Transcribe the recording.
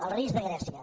el risc de grècia